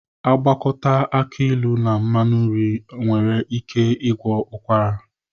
Agwakọta aki ịlụ na mmanụ nri nwere ike ịgwọ ụkwara.